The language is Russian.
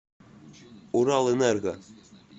уралэнерго